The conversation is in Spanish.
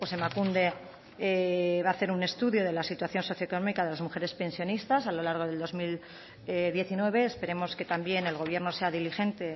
emakunde va a hacer un estudio de la situación socioeconómica de las mujeres pensionistas a lo largo del dos mil diecinueve esperemos que también el gobierno sea diligente